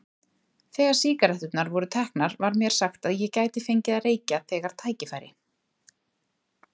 Þegar sígaretturnar voru teknar var mér sagt að ég gæti fengið að reykja þegar tækifæri